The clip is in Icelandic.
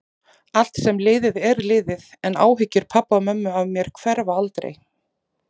Allt sem er liðið er liðið, en áhyggjur pabba og mömmu af mér hverfa aldrei.